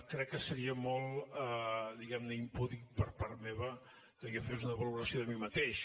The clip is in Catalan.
crec que seria molt diguem ne impúdic per part meva que jo fes una valoració de mi mateix